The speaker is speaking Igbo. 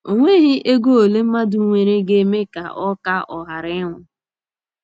E nweghị ego ole mmadụ nwere ga - eme ka ọ ka ọ ghara ịnwụ.